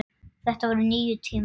Það voru nýir tímar.